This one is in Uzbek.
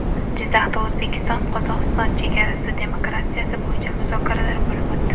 Jizzaxda O‘zbekistonQozog‘iston chegarasi demarkatsiyasi bo‘yicha muzokaralar bo‘lib o‘tdi.